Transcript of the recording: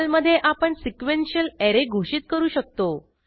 पर्लमधे आपण sequential array घोषित करू शकतो